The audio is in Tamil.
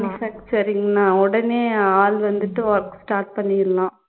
manufacturing னா உடனே ஆள் வந்துட்டு work start பண்ணிடணும்